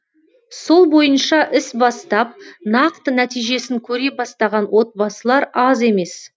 сол бойынша іс бастап нақты нәтижесін көре бастаған отбасылар аз емес